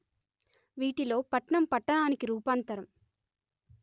వీటిలో పట్నం పట్టణానికి రూపాంతరం